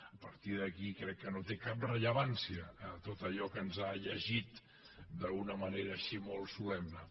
a partir d’aquí crec que no té cap rellevància tot allò que ens ha llegit d’una manera així molt solemne